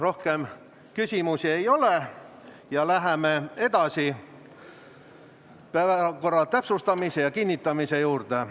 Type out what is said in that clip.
Rohkem küsimusi ei ole ja läheme päevakorra täpsustamise ja kinnitamise juurde.